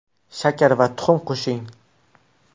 Shakar va tuxum qo‘shing.